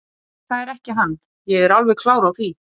Sturlaugur var að eigin sögn sjúklingur en hafði samt drifið sig í